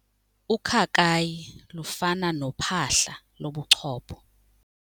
Ukhakayi lufana nophahla lobuchopho.